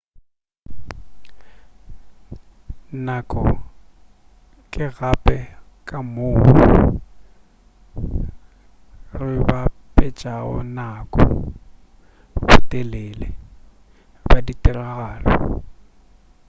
nako ke gape ka moo re bapetšago nako botelele bja ditiragalo